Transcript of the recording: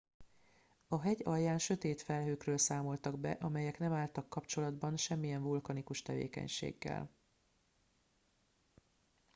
a hegy alján sötét felhőkről számoltak be amelyek nem álltak kapcsolatba semmilyen vulkanikus tevékenységgel